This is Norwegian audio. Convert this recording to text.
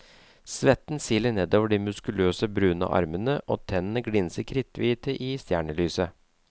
Svetten siler nedover de muskuløse, brune armene, og tennene glinser kritthvite i stjernelyset.